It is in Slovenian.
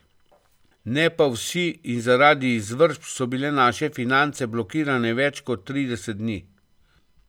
Ne pa vsi, in zaradi izvršb so bile naše finance blokirane več kot trideset dni.